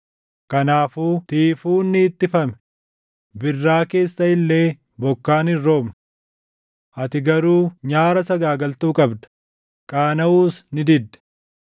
Kanaafuu tiifuun ni ittifame; birraa keessa illee bokkaan hin roobne. Ati garuu nyaara sagaagaltuu qabda; qaanaʼuus ni didde.